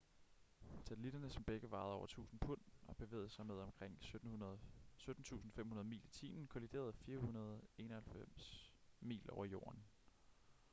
satellitterne som begge vejede over 1.000 pund og bevægede sig med omkring 17.500 mil i timen kolliderede 491 mil over jorden